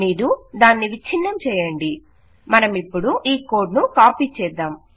మీరు దాన్ని విచ్ఛిన్నం చేయండి మనమిపుడు ఈ కోడ్ ను కాపీ చేద్దాం